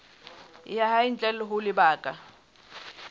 ya hae ntle ho lebaka